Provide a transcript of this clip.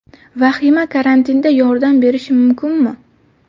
Vahima karantinda yordam berishi mumkinmi?.